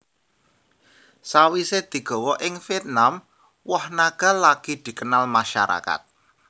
Sawisé digawa ing Vietnam woh naga lagi dikenal masyarakat